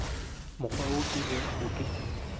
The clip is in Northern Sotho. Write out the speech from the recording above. mokgwa wo ke bego ke